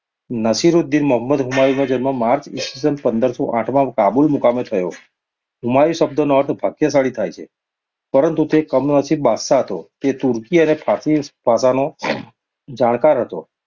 નાસિરૂદીન મહંમદ હુમાયુનો જન્મ માર્ચ ઈ. સ. પંદરસો આઠમાં કાબૂલ મુકામે થયો. હુમાયુ શબ્દનો અર્થ ભાગ્યશાળી થાય છે. પરંતુ તે મનસીબ બાદશાહ હતો. તે તુર્કી અને ફારસી ભાષાનો જાણકાર હતો.